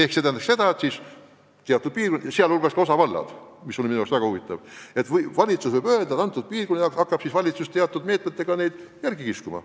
See tähendab seda, et valitsus võib teatud piirkondi, sh ka osavaldasid, mis on minu arust väga huvitav, teatud meetmete abil järele aidata.